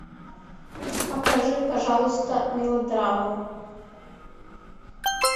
покажи пожалуйста мелодраму